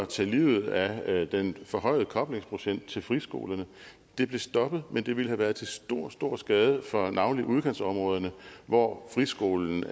tage livet af den forhøjede koblingsprocent til friskolerne det blev stoppet men det ville have været til stor stor skade for navnlig udkantsområderne hvor friskolen